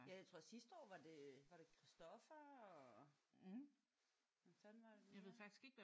Ja jeg tror sidste år var det øh var det Christopher og hvad fanden var der mere?